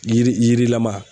Yiri yirilama